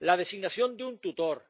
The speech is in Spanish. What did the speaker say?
la designación de un tutor,